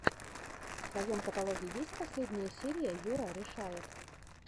в твоем каталоге есть последняя серия юрарешает